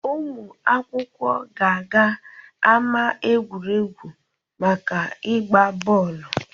Ụmụ akwụkwọ ga-aga ama egwuregwu maka ịgba bọọlụ.